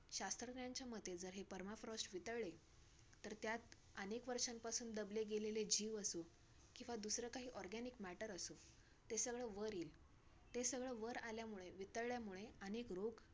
तर अ आम्ही आम्ही पण खूप त्या वेळी भिलेलो की बाई काय करायचं आत्ता ह्याच्या पुढे आत्ता आपण जायचं का नाय ?